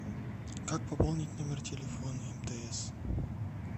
как пополнить номер телефона мтс